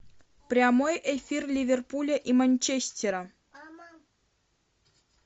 прямой эфир ливерпуля и манчестера